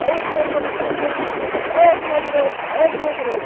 Aí saiu, uma turma toda gritando, pega o ladrão, pega o ladrão.